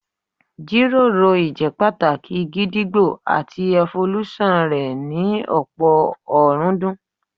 Jíròrò ìjẹ́pàtàkì gídígbò àti ẹfolúṣọ̀n rẹ̀ ní ọ̀pọ̀ ọ̀rúndún